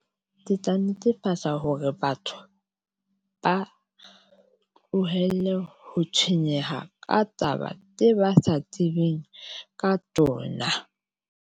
Ke tla netefatsa hore batho ba tlohelle ho tshwenyeha ka taba tse ba sa tsebeng ka tsona.